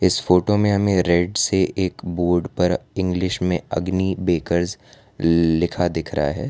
इस फोटो में हमें रेड से एक बोर्ड पर इंग्लिश में अग्नि बेकर्स लिखा दिख रहा है।